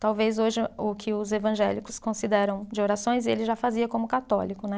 Talvez hoje o que os evangélicos consideram de orações, ele já fazia como católico, né?